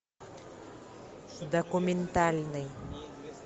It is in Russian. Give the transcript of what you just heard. документальный